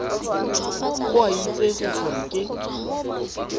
go a itsege gore ke